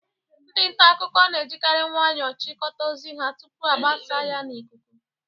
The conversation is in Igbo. Ndị nta akụkọ na-ejikari nwayọọ chịkọta ozi ha tupuu agbasaa ya n'ikuku.